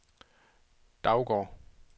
Daugård